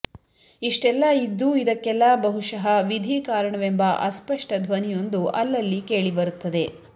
ಇಷ್ಟೆಲ್ಲ ಇದ್ದೂ ಇದಕ್ಕೆಲ್ಲ ಬಹುಶಃ ವಿಧಿ ಕಾರಣವೆಂಬ ಅಸ್ಪಷ್ಟ ಧ್ವನಿಯೊಂದು ಅಲ್ಲಲ್ಲಿ ಕೇಳೀಬರುತ್ತದೆ